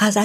جان من